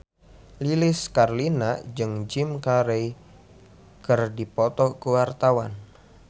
Lilis Karlina jeung Jim Carey keur dipoto ku wartawan